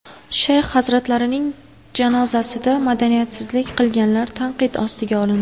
Shayx hazratlarining janozasida madaniyatsizlik qilganlar tanqid ostiga olindi.